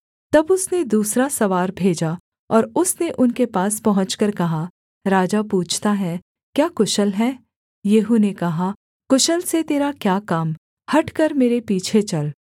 तब उसने दूसरा सवार भेजा और उसने उनके पास पहुँचकर कहा राजा पूछता है क्या कुशल है येहू ने कहा कुशल से तेरा क्या काम हटकर मेरे पीछे चल